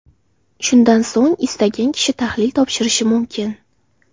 Shundan so‘ng istagan kishi tahlil topshirishi mumkin”.